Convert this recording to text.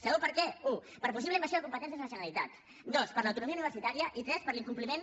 sabeu per què u per possible invasió de competències de la generalitat dos per l’autonomia universitària i tres per l’incompliment